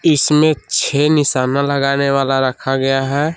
इसमें छे निशाना लगाने वाला रखा गया है।